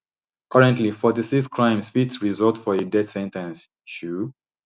currently forty-six crimes fit result for a death sen ten ce um